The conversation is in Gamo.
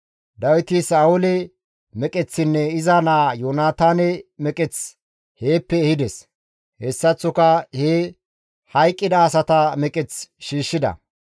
Dawiti Sa7oole meqeththinne iza naa Yoonataane meqeth heeppe ehides. Hessaththoka he hayqqida asata meqeth shiishshida.